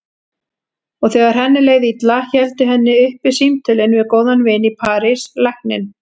Og þegar henni leið illa héldu henni uppi símtölin við góðan vin í París, lækninn